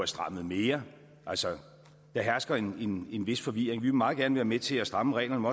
strammet mere altså der hersker en vis forvirring vi vil meget gerne være med til at stramme reglerne